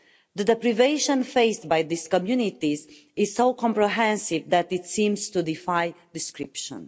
The deprivation faced by this community is so comprehensive that it seems to defy description.